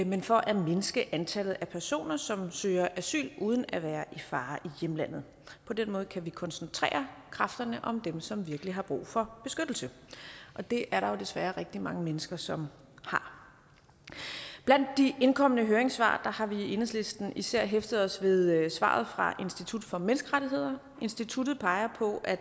men for at mindske antallet af personer som søger asyl uden at være i fare i hjemlandet på den måde kan vi koncentrere kræfterne om dem som virkelig har brug for beskyttelse og det er der desværre rigtig mange mennesker som har blandt de indkomne høringssvar har vi i enhedslisten især hæftet os ved ved svaret fra institut for menneskerettigheder instituttet peger på at